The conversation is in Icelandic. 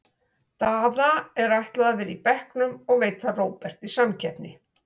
Daða er ætlað að vera á bekknum og veita Róberti samkeppni.